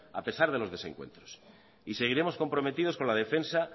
a pesar de los desencuentros y seguiremos comprometidos con la defensa